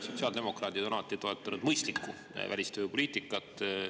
Sotsiaaldemokraadid on alati toetanud mõistlikku välistööjõu poliitikat.